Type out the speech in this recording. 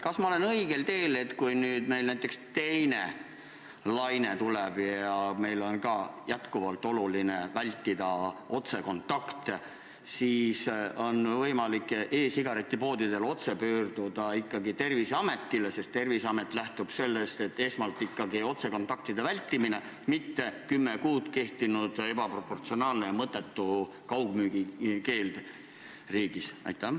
Kas ma olen õigel teel, arvates, et kui nüüd meil näiteks teine laine tuleb ja on jätkuvalt oluline vältida otsekontakte, siis on e-sigaretipoodidel võimalik otse pöörduda ikkagi Terviseameti poole, sest Terviseamet lähtub sellest, et esmane on ikkagi otsekontaktide vältimine, mitte 10 kuud kehtinud ebaproportsionaalne ja mõttetu kaugmüügi keeld riigis?